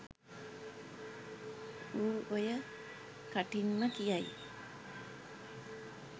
ඌ ඔය කටින්ම කියයි